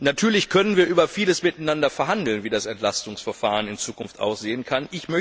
Natürlich können wir über vieles miteinander verhandeln, etwa darüber, wie das Entlastungsverfahren in Zukunft aussehen kann.